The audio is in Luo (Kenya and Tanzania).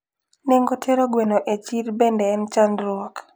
Nengo tero gwen e chir bende en chandruok